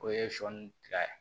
O ye sɔ ni tiga ye